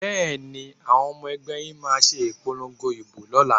Bẹ́ẹ̀ni, àwọn ọmọ ẹgbẹ́ yín máa ṣe ìpolongo ìbò lọ́la?